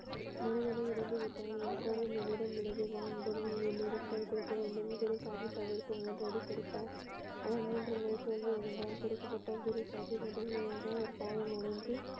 மகனும் இறந்து விட்டான் இப்பொழுது என்னிடம் உள்ளது வா முதலில் இருந்து இரண்டு பேரும் கைகுலுக்க வேண்டும் என்று குருசாகிப் அவருக்கு மூன்று அடி கொடுத்தார் அவர் மூன்று முறை தோல்வி அடைந்தார் குரு சாகிப் முதல் முதலாக காலில் விழுந்து.